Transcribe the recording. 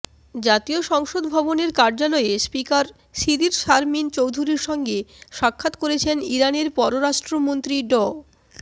জাতীয় সংসদ ভবনের কার্যালয়ে স্পিকার শিরীর শারমিন চৌধুরীর সঙ্গে সাক্ষাৎ করেছেন ইরানের পররাষ্ট্রমন্ত্রী ড